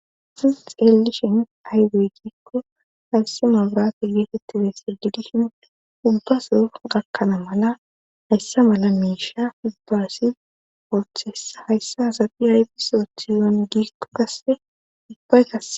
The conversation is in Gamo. Nu xelishin aygeygikko haysi mabraata geetettiresse didishin ubbaso gakkana mala hayssa mala miisha ubba asi worthessa hayssa hasabi ayfi sooth yon gito kasse dubbayka